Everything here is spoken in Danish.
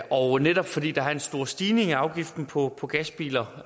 og netop fordi der er en stor stigning i afgiften på på gasbiler